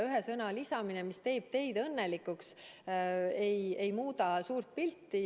Ühe sõna lisamine, mis teeb teid õnnelikuks, suurt pilti ei muuda.